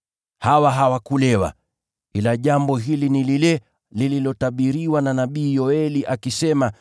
La, hili ni jambo lililotabiriwa na nabii Yoeli, akisema: